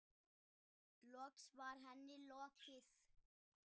Loks var henni lokið.